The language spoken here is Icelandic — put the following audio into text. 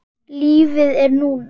Lífið er núna.